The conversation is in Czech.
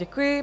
Děkuji.